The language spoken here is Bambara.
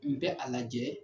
N bɛ a lajɛ,